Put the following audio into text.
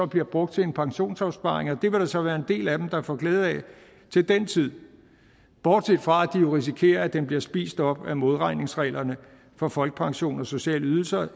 bliver brugt til en pensionsopsparing det vil der så være en del af dem der får glæde af til den tid bortset fra at de jo risikerer at den bliver spist op af modregningsreglerne for folkepension og sociale ydelser